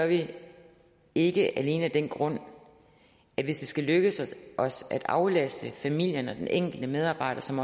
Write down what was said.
vi ikke alene af den grund at hvis det skal lykkes os at aflaste familierne og den enkelte medarbejder som